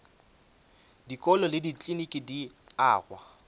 dikolo le dikliniki di agwa